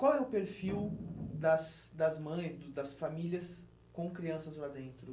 Qual é o perfil das das mães, do das famílias com crianças lá dentro?